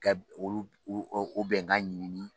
Ka olu u u u bɛn kan ɲɛɲini